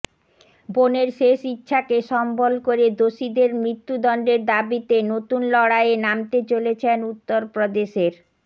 বোনের শেষ ইচ্ছাকে সম্বল করে দোষীদের মৃত্যুদণ্ডের দাবিতে নতুন লড়াইয়ে নামতে চলেছেন উত্তরপ্রদেশের